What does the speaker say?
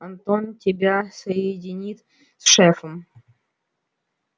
антон тебя соединит с шефом